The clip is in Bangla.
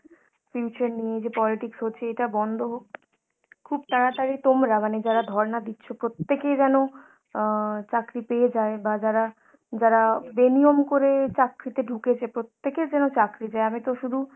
future নিয়ে যে politics হচ্ছে এটা বন্ধ হোক। খুব তাড়াতাড়ি তোমরা মানে যারা ধর্না দিচ্ছ প্রত্যেকেই যেনো অ্যাঁ চাকরি পেয়ে যায় বা যারা, যারা বেনিয়ম করে চাকরিতে ঢুকেছে প্রত্যেকের যেন চাকরি যায়। আমি তো শুধু